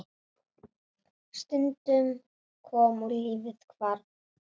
Stundin kom og lífið hvarf.